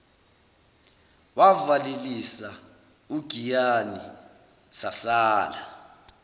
wavalelisa ugiyani sasala